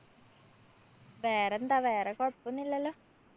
വേറെന്താ വേറെ കൊഴപ്പോന്നുല്ലല്ലോ?